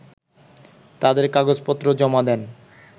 তাদের কাগজপত্র জমা দেন